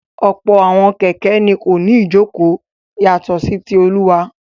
Ọ̀pọ̀ àwọn kẹ̀kẹ́ kò ní ìjókòó yàtọ̀ sí ti olùwà.